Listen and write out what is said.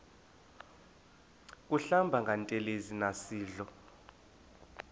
kuhlamba ngantelezi nasidlo